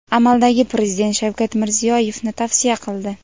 amaldagi prezident Shavkat Mirziyoyevni tavsiya qildi.